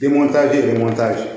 Denmtaji de ma taa ji